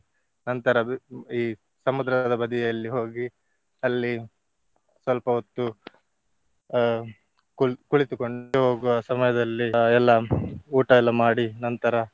ನಂತರ ಈ ಸಮುದ್ರದ ಬದಿಯಲ್ಲಿ ಹೋಗಿ ಅಲ್ಲಿ ಸ್ವಲ್ಪ ಹೊತ್ತು ಅಹ್ ಕುಳ್~ ಕುಳಿತುಕೊಂಡು ಹೋಗುವ ಸಮಯದಲ್ಲಿ ಅಹ್ ಎಲ್ಲಾ ಊಟ ಎಲ್ಲ ಮಾಡಿ ನಂತರ.